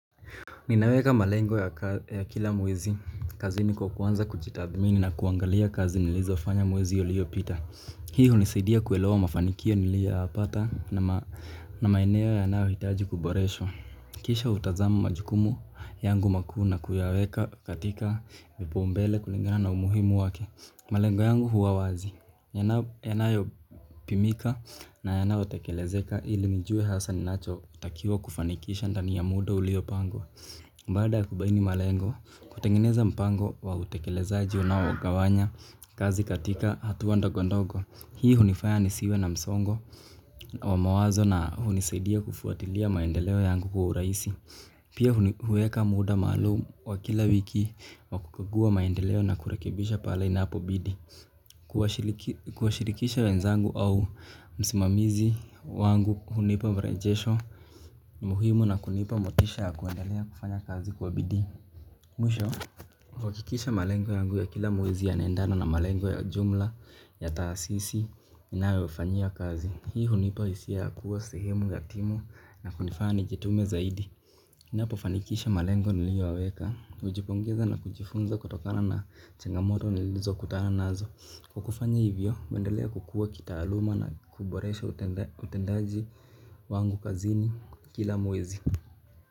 Ninaweka malengo ya kila mwezi, kazini kwa kuanza kujitadhimini na kuangalia kazi nilizofanya mwezi uliyopita. Hii hunisaidia kuelewa mafanikio niliyoyapata na maeneo yanayo hitaji kuboreshwa. Kisha utazama majukumu yangu makuu na kuyaweka katika kipao mbele kulingana na umuhimu wake. Malengo yangu huwa wazi, yanaopimika na yanao tekelezeka ili nijue hasa ninacho takiwa kufanikisha ndani ya muda ulio pangwa baada ya kubaini malengo, kutengeneza mpango wa utekelezaji unaogawanya kazi katika hatua ndogondogo. Hii hunifaya nisiwe na msongo, wa mawazo na hunisadia kufuatilia maendeleo yangu kwa urahisi. Pia huweka muda maalum wa kila wiki wa kukagua maendeleo na kurekebisha pale inapo bidi. Kuwashirikisha wenzangu au msimamizi wangu hunipa virejesho muhimu na kunipa motisha ya kuendelea kufanya kazi kwa bidii. Mwisho kuhakikisha malengo yangu ya kila mwezi yanaendana na malengo ya jumla ya taasisi ninayo fanyi kazi hii hunipa hisia ya kuwa sehemu gatimu na kunifanya nijitume zaidi. Inapo fanikisha malengo niliyoyaweka hujipongeza na kujifunza kutokana na changamoto nilizo kutana nazo kwa kufanya hivyo, huendelea kukua kitaaluma na kuboresha utendaji wangu kazini kila mwezi.